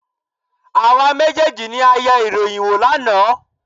Àwa méjèèjì ni a yẹ ìròyìn wò lánàá.